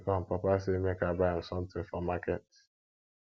i dey come papa sey make i buy am something for market